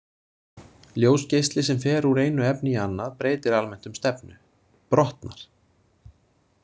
Ljósgeisli sem fer úr einu efni í annað breytir almennt um stefnu, brotnar.